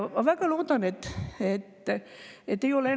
Ma soovin väga palju jõudu inimestele, kes selle viirusega praegu peavad võitlema.